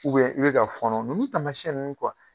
i bi ka fɔɔnɔ ,nunnu taamasiɲɛn nunnu